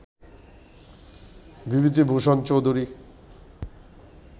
Bibhuti Bhushan Chowdhury